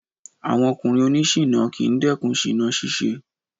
Àwọn ọkùnrin oní ṣiná kì ń dẹ́kun ṣìná ṣíṣe.